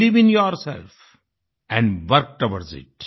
believe in yourself and work towards इत